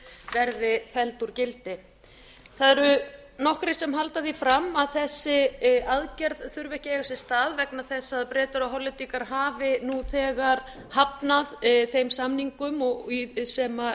verði felld úr gildi það eru nokkrir se halda því fram að þessi aðgerð þurfi ekki að eiga sér stað vegna þess að bretar og hollendingar hafi nú þegar hafnað þeim samningum sem